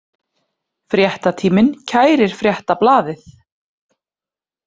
Fréttatíminn kærir Fréttablaðið